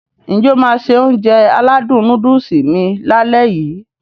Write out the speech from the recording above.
N jẹ́ o máá se Ounjẹ aládùn nóódùsì mi lálẹ́ yii?